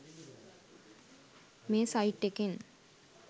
මේ සයිට් එකෙන්